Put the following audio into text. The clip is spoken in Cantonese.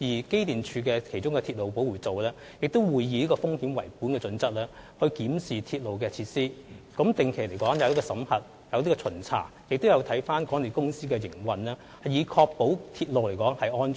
機電署的鐵路保護組亦會以風險為本的準則來檢視鐵路的設施，進行定期的審核及巡查，以及檢視港鐵的營運，以確保鐵路的安全。